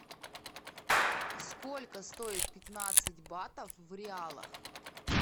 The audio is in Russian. сколько стоит пятнадцать батов в реалах